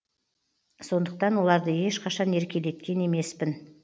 сондықтан оларды ешқашан еркелеткен емеспін